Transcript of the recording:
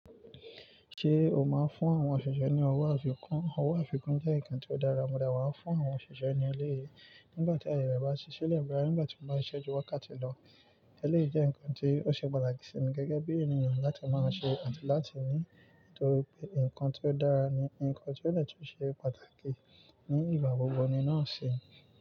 Ṣé o máa ń fún àwọn òṣìṣẹ́ ní owó àfikún? Owó àfikún jẹ́ nǹkan tó dára, mo de wa fún àwọn òṣìṣẹ́ ní eleyii. Nígbà tí ayẹ re bá ṣí ṣílé boya nígbà tí wọ́n bá ṣíṣẹ́ ju wákàtí lọ. Ẹléyìí jẹ́ nǹkan tí ó ṣe pàtàkì sí mi gẹ́gẹ́ bí ènìyàn láti máa ṣe àti láti ní nítorí pé nǹkan tí ó dára ni, nǹkan tí ó de tún ṣe pàtàkì ní ìgbà gbogbo ni náà ṣe.